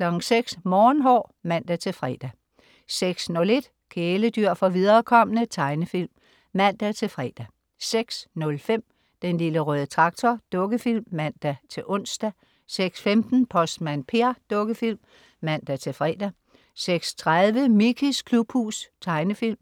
06.00 Morgenhår (man-fre) 06.01 Kæledyr for viderekomne. Tegnefilm (man-fre) 06.05 Den Lille Røde Traktor. Dukkefilm (man-ons) 06.15 Postmand Per. Dukkefilm (man-fre) 06.30 Mickeys klubhus. Tegnefilm